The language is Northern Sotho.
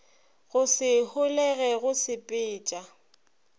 go se holege go sepetša